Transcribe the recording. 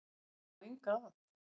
Ég á enga að.